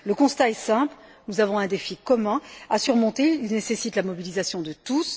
Le constat est simple, nous avons un défi commun à surmonter qui nécessite la mobilisation de tous.